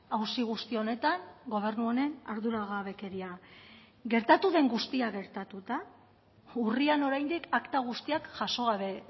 auzi guzti honetan gobernu honen arduragabekeria gertatu den guztia gertatuta urrian oraindik akta guztiak jaso gabe